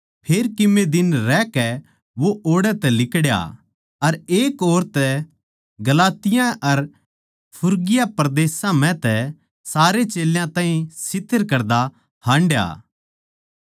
फेर कीमे दिन रहकै वो ओड़ै तै लिकड़या अर एक और तै गलातिया अर फ्रुगिया परदेसां म्ह सारे चेल्यां ताहीं स्थिर करदा हांडया